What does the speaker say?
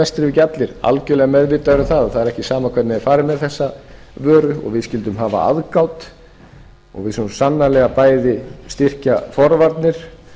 ekki allir algjörlega meðvitaður um það að það er ekki sama hvernig er farið með eða vöru og við skyldum hafa aðgát og við skulum sannarlega bæði styrkja forvarnir